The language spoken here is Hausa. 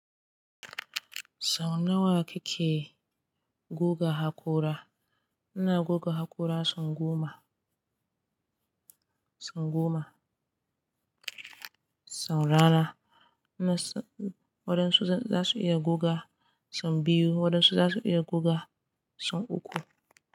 Sau nawa kike guga haƙora? Ina guga haƙora sau goma, sau goma, sau rana. Waɗansu za su iya guga sau biyu, waɗansu za su iya guga sau uku.